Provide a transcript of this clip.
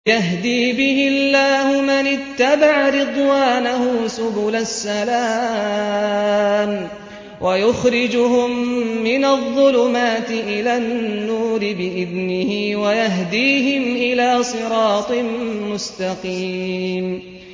يَهْدِي بِهِ اللَّهُ مَنِ اتَّبَعَ رِضْوَانَهُ سُبُلَ السَّلَامِ وَيُخْرِجُهُم مِّنَ الظُّلُمَاتِ إِلَى النُّورِ بِإِذْنِهِ وَيَهْدِيهِمْ إِلَىٰ صِرَاطٍ مُّسْتَقِيمٍ